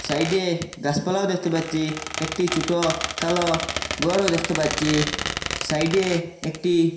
সাইডে গাসপালাও দেখতে পাচচি একটি ছুটো কালো গরও দ্যাখতে পাচচি সাইডে একটি--